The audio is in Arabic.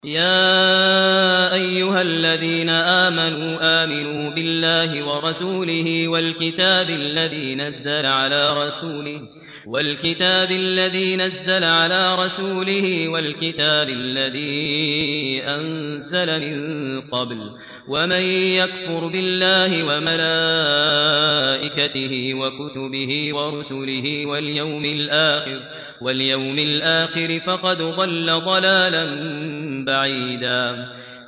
يَا أَيُّهَا الَّذِينَ آمَنُوا آمِنُوا بِاللَّهِ وَرَسُولِهِ وَالْكِتَابِ الَّذِي نَزَّلَ عَلَىٰ رَسُولِهِ وَالْكِتَابِ الَّذِي أَنزَلَ مِن قَبْلُ ۚ وَمَن يَكْفُرْ بِاللَّهِ وَمَلَائِكَتِهِ وَكُتُبِهِ وَرُسُلِهِ وَالْيَوْمِ الْآخِرِ فَقَدْ ضَلَّ ضَلَالًا بَعِيدًا